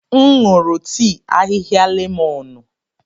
M nụrụ tii ahịhịa lemọnụ.